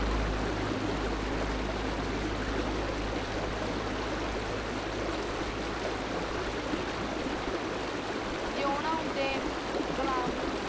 ਊਨਾ ਕਰਕੇ ਹੀ ਆ ਅਜ ਆਪਾ ਜੋ ਓ ਨਾ ਹੁੰਦੇ ਗੁਲਾਮ